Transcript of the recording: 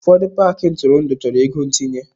Ụfọdụ paaki ntụrụndụ chọrọ ego ntinye.